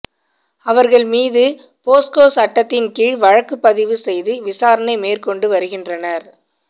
அவர்கள் மீது போஸ்கோ சட்டத்தின் கீழ் வழக்கு பதிவு செய்து விசாரணை மேற்கொண்டு வருகின்றனர்